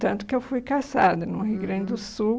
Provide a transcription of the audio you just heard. Tanto que eu fui caçada uhum no Rio Grande do Sul.